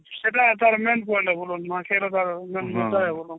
ସେଟା ତାର main point ହେବ ନୂଆଖାଇର ତାର